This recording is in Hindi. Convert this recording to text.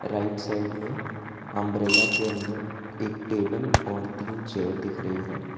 राइट साइड में अंब्रेला के अंदर एक टेबल और तीन चेयर दिख रही है।